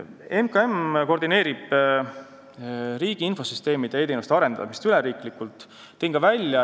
MKM koordineerib riigi infosüsteemide ja e-teenuste arendamist üleriiklikult.